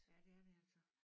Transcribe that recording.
Ja det er det altså